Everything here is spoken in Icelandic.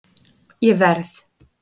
Ég verð